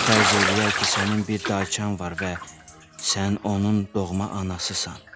İndi fərz eləyək ki, sənin bir dayçan var və sən onun doğma anasısan.